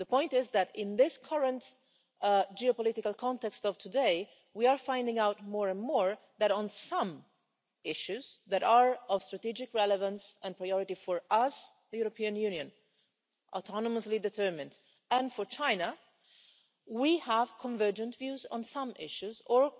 The point is that in the current geopolitical context of today, we are finding out more and more that on some issues that are of strategic relevance and priority for us, the European Union, autonomously determined, and for China, we have convergent views on some issues or